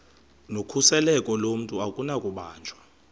nokhuseleko lomntu akunakubanjwa